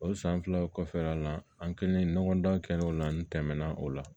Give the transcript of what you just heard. O san filaw kɔfɛ a la an kelen ɲɔgɔndan kɛ o la n tɛmɛna o la